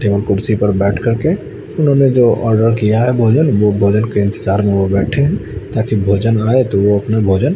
table कुर्सी पर बैठ करके उन्होंने जो आर्डर किया है भोजन वो भोजन के इंतजार में वो बैठे हैं ताकी भोजन आए तो वो अपने भोजन--